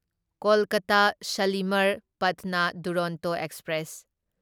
Kolkata Shalimar Patna Duronto express